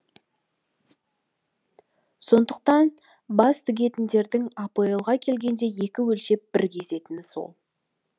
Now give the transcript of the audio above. сондықтан бәс тігетіндердің апл ға келгенде екі өлшеп бір кесетіні сол